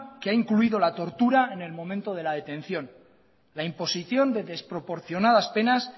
que ha incluido la tortura en el momento de la detención la imposición de desproporcionadas penas